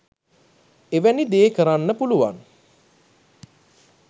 එවැනි දේ කරන්න පුළුවන්